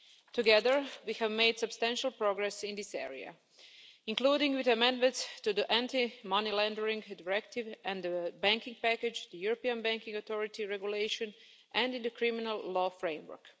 Together, we have made substantial progress in this area, including with amendments to the Anti Money Laundering Directive and the Banking Package, the European Banking Authority Regulation and in the Criminal Law Framework.